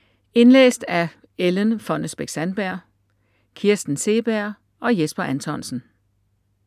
Indlæst af Ellen Fonnesbech-Sandberg, Kirsten Seeberg og Jesper Anthonsen.